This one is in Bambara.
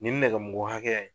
Nin nɛgɛmugu hakɛya in.